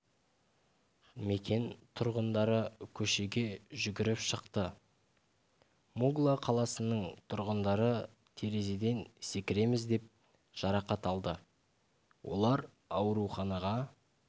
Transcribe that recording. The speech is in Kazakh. мекен тұрғындары көшеге жүгіріп шықты мугла қаласының тұрғындары терезеден секіреміз деп жарақат алды олар ауруханаға